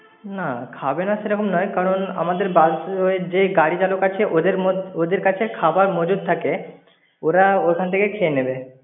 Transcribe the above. না, খাবে না সেরকম নয়, কারণ আমদের যে গাড়ি চালক আছে ওদের মধ~ ওদের কাছে খবার মজুত থাকে। ওরা ওখান থেকে খেয়ে নেবে।